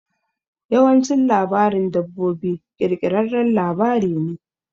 Yawancin labarin dabbobi ƙirƙirarren labari ne.